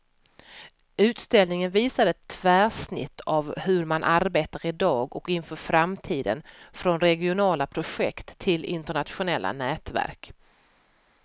Utställningen visar ett tvärsnitt av hur man arbetar i dag och inför framtiden, från regionala projekt till internationella nätverk.